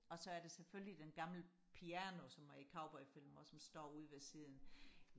og så er der selvfølgelig den gamle piano som er i cowboyfilm også som står ude ved siden